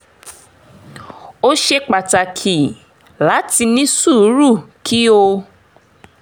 ó ṣe pàtàkì láti ní sùúrù kí o